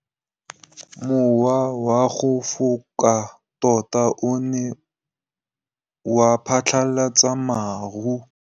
Mowa o wa go foka tota o ne wa phatlalatsa maru.